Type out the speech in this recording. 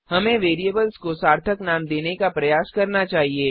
हमें वेरिएबल्स को सार्थक नाम देने का प्रयास करना चाहिए